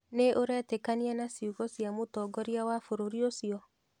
Nĩ ũretĩkania na ciugo cia mũtongoria wa bũrũri ũcio?